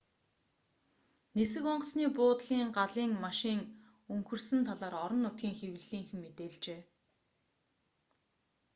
нисэх онгоцны буудлын галын машин өнхөрсөн талаар орон нутгийн хэвлэлийнхэн мэдээлжээ